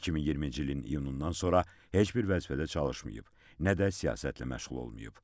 2020-ci ilin iyunundan sonra heç bir vəzifədə çalışmayıb, nə də siyasətlə məşğul olmayıb.